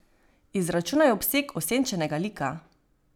Izračunaj obseg osenčenega lika.